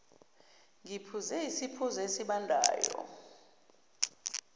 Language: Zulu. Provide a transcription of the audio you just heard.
ngiphuze isiphuzo esibandayo